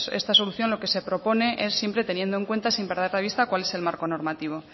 esta solución lo que se propone es siempre teniendo en cuenta sin perder de vista cuál es el marco normativo